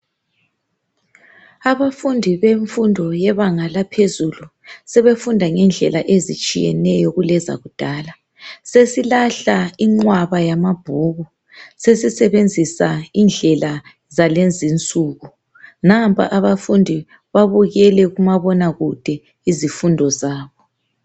Abafundi bemfundo yebanga laphezulu sebefunda ngendlela ezitshiyeneyo kulezakudala sesilahla inqwaba yamabhuku sesisebenzisa indlela zalezinsuku. Nampa abafundi babukele kumabonakude izifundo zabo.